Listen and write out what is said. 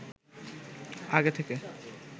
আগে থেকে